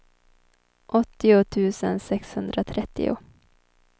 åttio tusen sexhundratrettio